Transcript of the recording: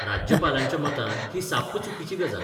राज्यपालांच्या मतान ही साप्प चुकीची गजाल.